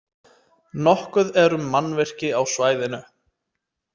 Nokkuð er um mannvirki á svæðinu.